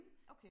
okay